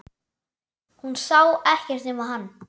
Hún sá ekkert nema hann!